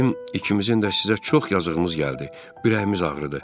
Bizim ikimizin də sizə çox yazığımız gəldi, ürəyimiz ağrıdı.